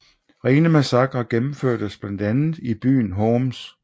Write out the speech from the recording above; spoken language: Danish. Rene massakrer gennemførtes blandt andet i byen Homs